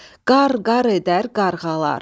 Qar-qar edər qarğalar.